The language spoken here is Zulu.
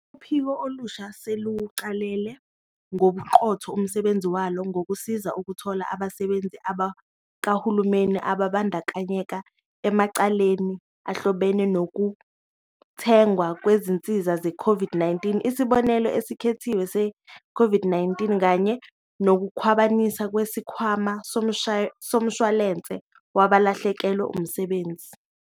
Uphiko olusha seluwuqale ngobuqotho umsebenzi walo, ngokusiza ukuthola abasebenzi bakahulumeni ababandakanyeka emacaleni ahlobene nokuthengwa kwezinsiza zeCOVID-19, isibonelelo esikhethekile se-COVID-19 kanye nokukhwabaniswa kweSikhwama Somshwalense Wabalahlekelwe Umsebenzi.